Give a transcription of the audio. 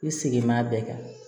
I segin b'a bɛɛ kan